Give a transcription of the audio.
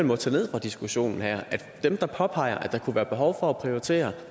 må tage ned fra diskussionen her er at svaret dem der påpeger at der kunne være behov for at prioritere